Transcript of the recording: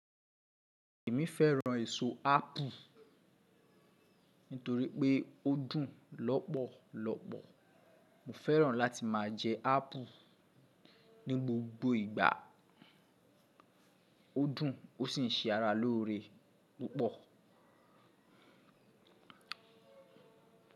Èmi fẹ́ràn èso ápple nítorí pé ó dùn lọ́pọ̀lọpọ̀. Mo fẹ́ràn láti máa jẹ ápple ní gbogbo ìgbà. Ó dùn ó sì ń ṣe ara lóore púpọ̀.